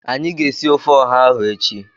Anyị ga-esi ofe ọha ahụ echi